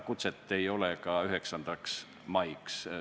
Kutset ei ole saadud ka 9. maiks.